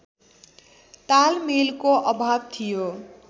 तालमेलको अभाव थियो